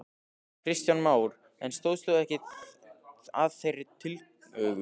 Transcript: Kristján Már: En stóðst þú ekki að þeirri tillögu?